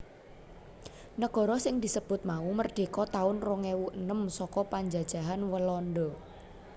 Negara sing disebut mau merdeka taun rong ewu enem saka penjajahan Walanda